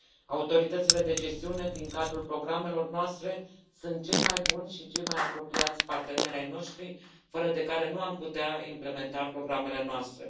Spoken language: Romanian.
Autoritățile de gestiune din cadrul programelor noastre sunt cei mai buni și cei mai apropiați parteneri ai noștri fără de care nu am putea implementa programele noastre.